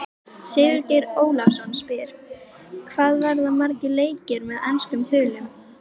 Sigurgeir Ólafsson spyr: Hvað verða margir leikir með enskum þulum?